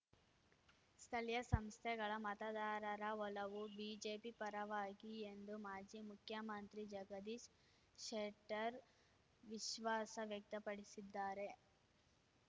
ಸ್ಥಳೀಯ ಸಂಸ್ಥೆಗಳ ಮತದಾರರ ಒಲವು ಬಿಜೆಪಿ ಪರವಾಗಿ ಎಂದು ಮಾಜಿ ಮುಖ್ಯಮಂತ್ರಿ ಜಗದೀಶ್‌ ಶೆಟ್ಟರ್‌ ವಿಶ್ವಾಸ ವ್ಯಕ್ತಪಡಿಸಿದ್ದಾರೆ